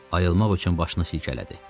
Ayılmaq üçün başını silkələdi.